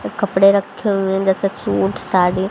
कपड़े रखे हुए हैं जैसे सूट साड़ी।